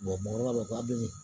mɔgɔkɔrɔbaw b'a fɔ ko a bɛ